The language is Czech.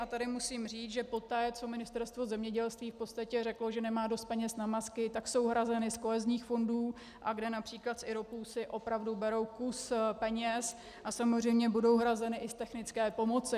A tady musím říct, že poté, co Ministerstvo zemědělství v podstatě řeklo, že nemá dost peněz na masky, tak jsou hrazeny z kohezních fondů, a kde například z IROPů si opravdu berou kus peněz, a samozřejmě budou hrazeny i z technické pomoci.